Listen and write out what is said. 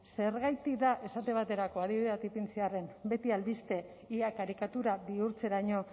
zergatik da esate baterako adibide bat ipintzearren beti albiste ia karikatura bihurtzeraino